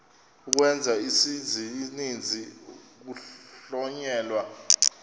ukwenza isininzi kuhlonyelwa